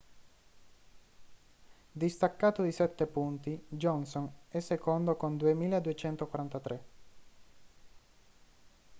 distaccato di sette punti johnson è secondo con 2.243